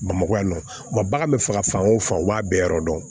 Bamakɔ yan nɔ wa bagan bɛ faga fan o fan u b'a bɛɛ yɔrɔ dɔn